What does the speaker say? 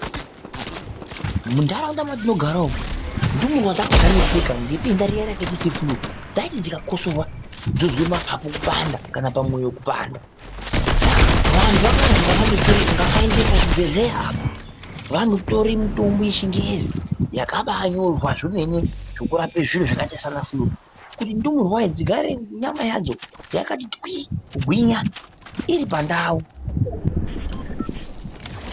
Munharaunda matinodara umu ndumurwa dzanga dzaneseka nedenda riya rakaita sefuruu dzaiti dzikakosorwa dzozwa napapu kupanda, mwoyo kupanda .Saka vantu vakazi ngavaende pachibhedhleya apo vanotore mitombo yechingezi yakabanyorwa zvemene yekurape zviro zvakaita sana furuu. Kuti ndumurwa dzigare nyama yadzo yakati twii kugwinya iri pandau.